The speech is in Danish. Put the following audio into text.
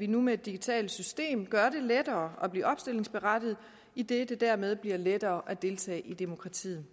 nu med et digitalt system gør det lettere at blive opstillingsberettiget idet det dermed bliver lettere at deltage i demokratiet